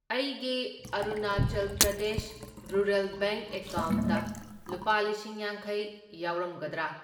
ꯑꯩꯒꯤ Arunachal Pradesh rural bank ꯑꯦꯀꯥꯎꯟꯠꯇ ꯂꯨꯄꯥ ꯂꯤꯁꯤꯡ ꯌꯥꯡꯈꯩ ꯌꯥꯎꯔꯝꯒꯗ꯭ꯔꯥ?